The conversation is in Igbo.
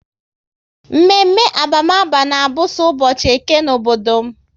Mme mme abamaba na abụ so ụbọchị Eke n'obodo m